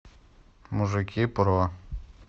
мужики про